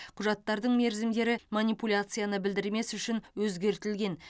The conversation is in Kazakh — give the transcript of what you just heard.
құжаттардың мерзімдері манипуляцияны білдірмес үшін өзгертілген